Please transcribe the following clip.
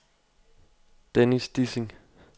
Dennis Dissing